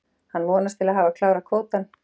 Hann vonast til að hafa klárað kvótann.